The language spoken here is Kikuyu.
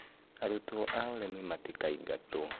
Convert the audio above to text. arutwo a ũrĩmĩ matikaingatwo.